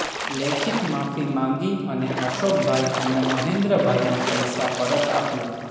લેખિત માફી માંગી અને અશોકભાઈ અને મહેન્દ્રભાઈના પૈસા પરત આપ્યા